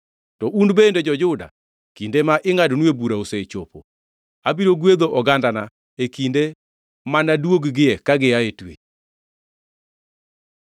“To un bende jo-Juda kinde ma ingʼadonue bura osechopo. “Abiro gwedho ogandana e kinde manaduogie ka gia e twech,